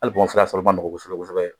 Hali sɔrɔ man nɔgɔn kosɛbɛ kosɛbɛ